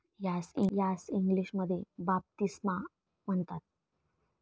यास इंग्लिशमध्ये बाप्तिस्मा म्हणतात.